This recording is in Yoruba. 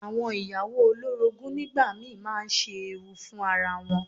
Àwọn ìyàwó olórogún nígbà mi máa ń ṣe ewu fún ara wọn.